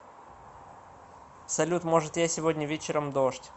салют может я сегодня вечером дождь